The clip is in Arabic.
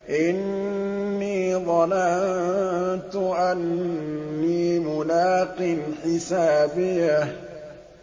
إِنِّي ظَنَنتُ أَنِّي مُلَاقٍ حِسَابِيَهْ